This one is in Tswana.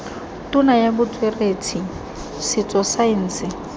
tona ya botsweretshi setso saense